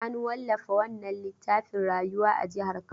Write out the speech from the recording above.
An wallafa wannan littafin Rayuwa a jihar Kano.